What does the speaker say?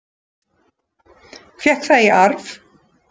Fékk það í arf.